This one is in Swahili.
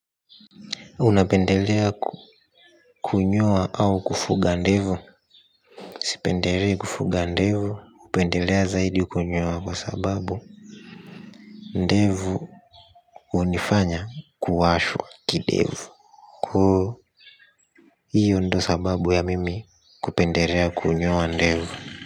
Unapendelea kunyoa au kufuga ndevu. Sipendelei kufuga ndevu. Upendelea zaidi kunyoa kwa sababu ndevu unifanya kuwashwa kidevu. Koo hiyo ndo sababu ya mimi kupendelea kunyoa ndevu.